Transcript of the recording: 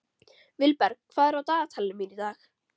Vilberg, hvað er á dagatalinu mínu í dag?